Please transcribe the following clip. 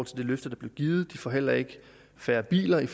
til det løfte der blev givet de får heller ikke færre biler i